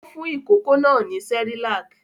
Ó fún ìkókó náà ní Cerelac?